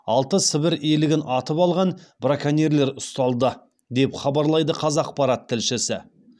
алты сібір елігін атып алған браконьерлер ұсталды деп хабарлайды қазақпарат тілшісі